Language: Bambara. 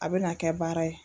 A bɛ na kɛ baara ye.